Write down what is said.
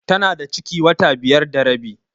Tana da ciki wata biyar da rabi.